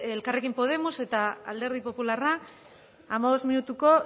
elkarrekin podemos eta alderdi popularra hamabost minutuko